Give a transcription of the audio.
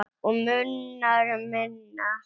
Og munar um minna.